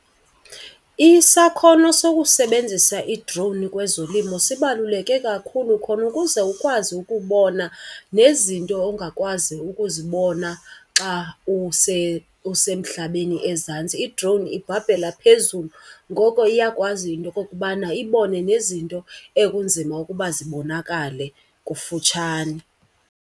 Isakhono sokusebenzisa i-drone kwezolimo sibaluleke kakhulu khona ukuze ukwazi ukubona nezinto ongakwazi ukuzibona xa usemhlabeni ezantsi. I-drone ibhabhela phezulu ngoko iyakwazi into okokubana ibone nezinto ekunzima ukuba zibonakale kufutshane.